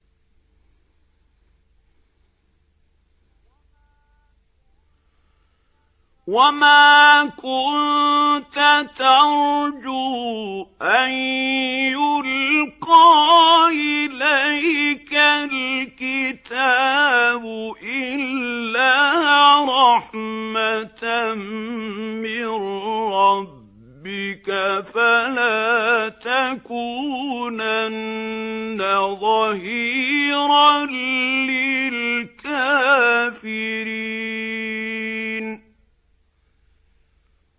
وَمَا كُنتَ تَرْجُو أَن يُلْقَىٰ إِلَيْكَ الْكِتَابُ إِلَّا رَحْمَةً مِّن رَّبِّكَ ۖ فَلَا تَكُونَنَّ ظَهِيرًا لِّلْكَافِرِينَ